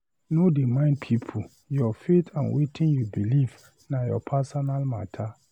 No dey mind pipu, you faith and wetin you beliv na your personal mata.